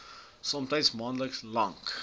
somtyds maande lank